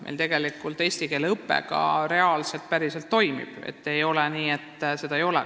Meil tegelikult eesti keele õpe ka päriselt toimib, ei ole nii, et keeleõpet ei ole.